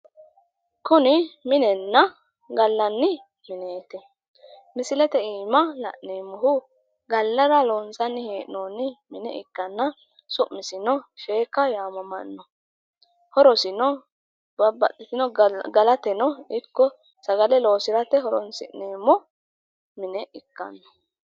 Kuni minenna gallanni mineeti misilete iima la'neemmohu gallara loonsanni mine ikkanna su'misino sheekka yaamamanno horosino babbaxitino galateno ikko sagale loosirate horonsi'neemmo mine ikkanno.